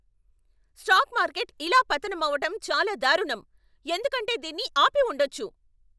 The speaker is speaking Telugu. స్టాక్ మార్కెట్ ఇలా పతనం అవటం చాలా దారుణం, ఎందుకంటే దీన్ని ఆపి ఉండొచ్చు.